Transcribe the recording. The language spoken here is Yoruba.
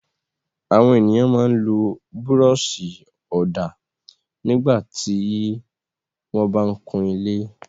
Àwọn ènìyàn máa ń lo búrọ́ṣì-ọ̀dà nígbà tí wọ́n bá ń kun ilé.